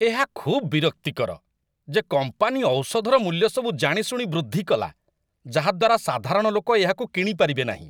ଏହା ଖୁବ୍ ବିରକ୍ତିକର ଯେ କମ୍ପାନୀ ଔଷଧର ମୂଲ୍ୟସବୁ ଜାଣିଶୁଣି ବୃଦ୍ଧି କଲା, ଯାହା ଦ୍ୱାରା ସାଧାରଣ ଲୋକ ଏହାକୁ କିଣି ପାରିବେନାହିଁ ।